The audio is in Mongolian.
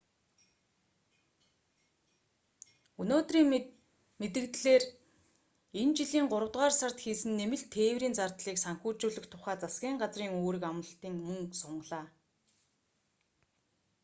өнөөдрийн мэдэгдлээр энэ жилийн гуравдугаар сард хийсэн нэмэлт тээврийн зардлыг санхүүжүүлэх тухай засгийн газрын үүрэг амлалтыг мөн сунгалаа